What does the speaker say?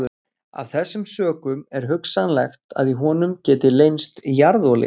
Af þessum sökum er hugsanlegt að í honum geti leynst jarðolía.